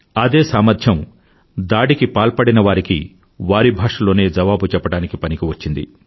అదే సామర్ధ్యం దాడికి పాల్పడినవారికి వారి భాషలోనే జవాబు చెప్పడానికి పనికివచ్చింది